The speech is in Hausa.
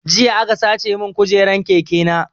Jiya aka sace mun kujeran keke na